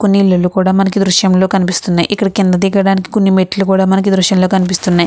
కొన్ని ఇల్లులు కూడా మనకి ఈ దృశ్యం లో కనిపిస్తున్నాయి. కిందకి దిగడానికి మెట్టులు కూడా మనకి ఈ దృశ్యం లో కనిపిస్తున్నాయి.